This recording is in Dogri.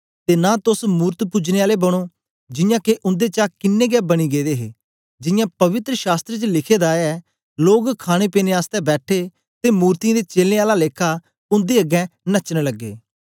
ते नां तोस मूरत पुजने आले बनो जियां के उन्देचा किन्नें गै बनी गेदे दे हे जियां पवित्र शास्त्र च लिखे दा ऐ लोग खाणेपीने आसतै बैठे ते मूर्तियें दे चेलें आला लेखा उन्दे अगें नचन लगे